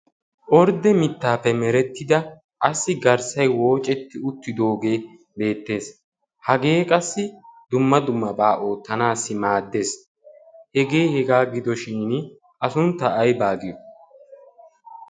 ordde mittaappe merettida qassi garssay woocetti uttidoogee beettees hagee qassi dumma dummabaa oottanaassi maaddees hegee hegaa gidoshin a suntta ay baagiyo